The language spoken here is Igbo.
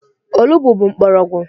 Olugbo bụ mgbọrọgwụ.